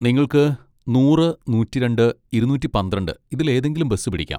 നിങ്ങൾക്ക് നൂറ് , നൂറ്റിരണ്ട് , ഇരുന്നൂറ്റി പന്ത്രണ്ട് ഇതിലേതെങ്കിലും ബസ് പിടിക്കാം.